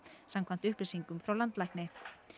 samkvæmt upplýsingum frá landlækni